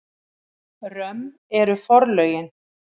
Römm eru forlögin.